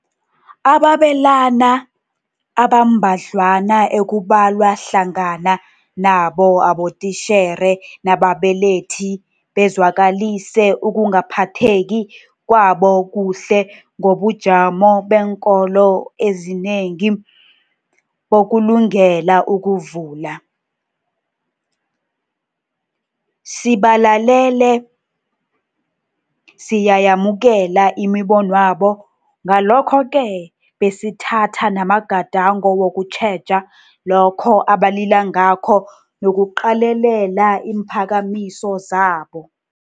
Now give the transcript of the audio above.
Ababelani abambadlwana ekubalwa hlangana nabo abotitjhere nababelethi bezwakalise ukungaphatheki kwabo kuhle ngobujamo beenkolo ezinengi bokulungela ukuvula. Sibalalele, siyayamukela imibonwabo ngalokho-ke besithatha namagadango wokutjheja lokho abalila ngakho nokuqalelela iimphakamiso zabo.